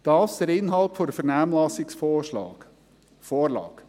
Dies der Inhalt der Vernehmlassungsvorlage.